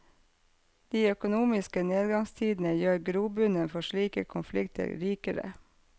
De økonomiske nedgangstidene gjør grobunnen for slike konflikter rikere.